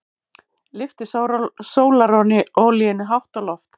Lyfti sólarolíunni hátt á loft.